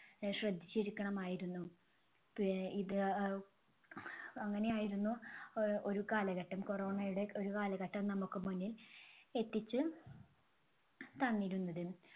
അഹ് ശ്രദ്ധിച്ചിരിക്കണമായിരുന്നു. ഇത് അഹ് അങ്ങനെയായിരുന്നു അഹ് ഒരു കാലഘട്ടം. Corona യുടെ ഒരു കാലഘട്ടം നമുക്ക് മുന്നിൽ എത്തിച്ച് തന്നിരുന്നത്.